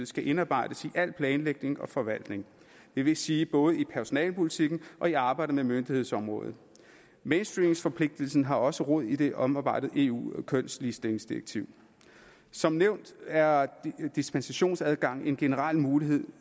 skal indarbejdes i al planlægning og forvaltning det vil sige både i personalepolitikken og i arbejdet med myndighedsområdet mainstreamforpligtelsen har også rod i det omarbejdede eu kønsligestillingsdirektiv som nævnt er dispensationsadgang en generel mulighed